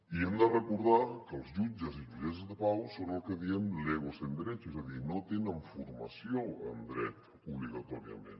i hem de recordar que els jutges i jutgesses de pau són el que en diem legos en derecho és a dir no tenen formació en dret obligatòriament